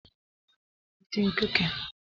Ị ga-ebutere m ibu m na paakị